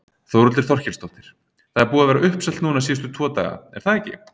Þórhildur Þorkelsdóttir: Það er búið að vera uppselt núna síðustu tvo daga, er það ekki?